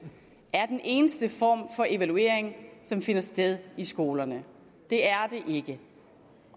er den eneste form for evaluering som finder sted i skolerne det er det ikke